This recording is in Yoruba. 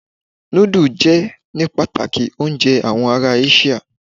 Núdù jẹ́ ní pàtàkì oúnjẹ àwọn ará Áṣíà.